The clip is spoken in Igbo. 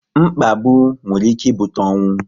Mkpagbu nwere ike ibute ọnwụ